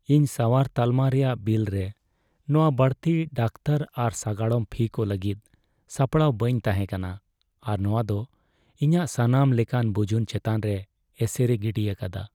ᱤᱧ ᱥᱟᱣᱟᱨ ᱛᱟᱞᱢᱟ ᱨᱮᱭᱟᱜ ᱵᱤᱞ ᱨᱮ ᱱᱚᱶᱟ ᱵᱟᱹᱲᱛᱤ ᱰᱟᱠᱚᱛᱟᱨ ᱟᱨ ᱥᱟᱜᱟᱲᱚᱢ ᱯᱷᱤ ᱠᱚ ᱞᱟᱹᱜᱤᱫ ᱥᱟᱯᱲᱟᱣ ᱵᱟᱹᱧ ᱛᱟᱦᱮᱸ ᱠᱟᱱᱟ, ᱟᱨ ᱱᱚᱶᱟ ᱫᱚ ᱤᱧᱟᱹᱜ ᱥᱟᱱᱟᱢ ᱞᱮᱠᱟᱱ ᱵᱩᱡᱩᱱ ᱪᱮᱛᱟᱱ ᱨᱮ ᱮᱥᱮᱨᱮ ᱜᱤᱰᱤ ᱟᱠᱟᱫᱟ ᱾